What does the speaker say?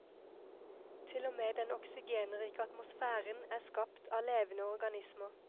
Til og med den oksygenrike atmosfæren er skapt av levende organismer.